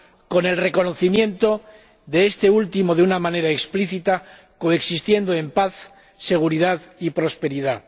con el reconocimiento de este último de una manera explícita, que coexistan en paz, seguridad y prosperidad.